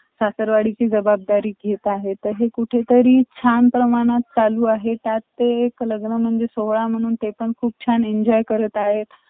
bangkok हुन आम्ही krabi ला गेलो krabi ला Aonang beach आहे ते beach खूप छान आहे तिथे shopping आहे आसपासमध्ये ते आहे night life त आहेच purna thailand मधे awsomekrabi हुन आम्ही four day tour केलं four अं